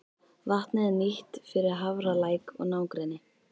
Vatnið er nýtt fyrir Hafralæk og nágrenni.